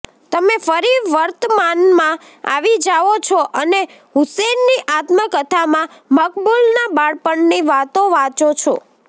તમે ફરી વર્તમાનમાં આવી જાઓ છો અને હુસેનની આત્મકથામાં મકબૂલના બાળપણની વાતો વાંચો છો